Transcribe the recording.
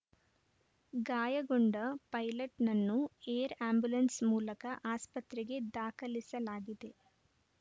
ಗಾಯಗೊಂಡ ಪೈಲಟ್‌ನನ್ನು air ambulance ಮೂಲಕ ಆಸ್ಪತ್ರೆಗೆ ದಾಖಲಿಸಲಾಗಿದೆ